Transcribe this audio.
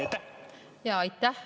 Aitäh!